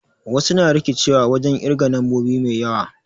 Wasu na rikicewa wajen ƙirge nombobi mai yawa